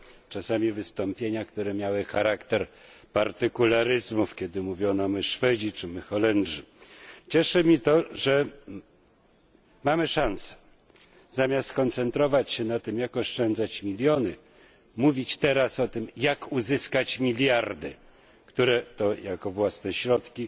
czasami wystąpienia, które miały charakter partykularyzmów, kiedy mówiono my Szwedzi czy my Holendrzy. Cieszy mnie to, że mamy szansę zamiast koncentrować się na tym, jak oszczędzać miliony mówić teraz o tym, jak uzyskać miliardy, które to jako własne środki